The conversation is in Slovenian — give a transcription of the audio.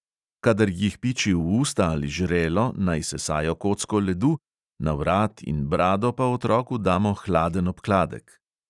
Kadar jih piči v usta ali žrelo, naj sesajo kocko ledu, na vrat in brado pa otroku damo hladen obkladek.